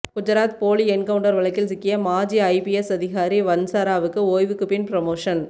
குஜராத் போலி என்கவுண்ட்டர் வழக்கில் சிக்கிய மாஜி ஐபிஎஸ் அதிகாரி வன்சராவுக்கு ஓய்வுக்கு பின் புரமோசன்